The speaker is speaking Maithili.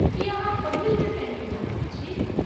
की अहाँ पहिल बेर कैन्टीन जा रहल छी?